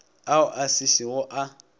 ao a se šego a